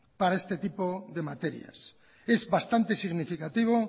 para este tipo de materias es bastante significativo